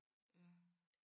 Ja